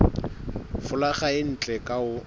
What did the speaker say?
folaga e ntle ka ho